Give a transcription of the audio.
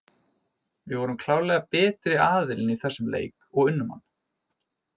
Við vorum klárlega betri aðilinn í þessum leik og unnum hann.